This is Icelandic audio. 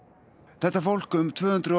þetta fólk um tvö hundruð og